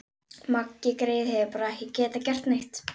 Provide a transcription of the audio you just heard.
Maggi greyið hefur bara ekki getað gert neitt.